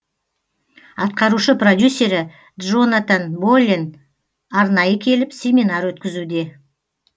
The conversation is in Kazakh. атқарушы продюсері джонатан боллен арнайы келіп семинар өткізуде